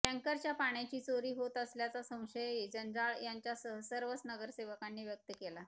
टँकरच्या पाण्याची चोरी होत असल्याचा संशयही जंजाळ यांच्यासह सर्वच नगरसेवकांनी व्यक्त केला